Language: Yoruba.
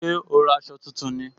Ṣé o ra aṣọ tuntun ni